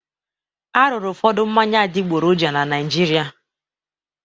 A rụrụ ụfọdụ mmanya adịgboroja na Naịjirịa.